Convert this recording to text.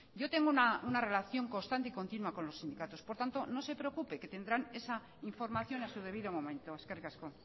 yo tengo una relación constante y continua con los sindicatos por tanto no se preocupe que tendrán esa información a su debido momento eskerrik asko